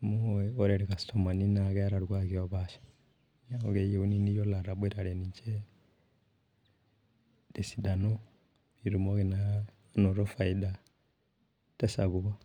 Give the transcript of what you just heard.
amu ore ilkastomani naa keeta irkuaaki opaasha, neeku keyieuni naa iyiolo ataboitare ninche, tesidano, pee itumoki naa anoto faida sapuk.